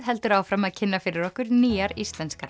heldur áfram að kynna fyrir okkur nýjar íslenskar